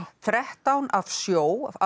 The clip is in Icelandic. þrettán af sjó af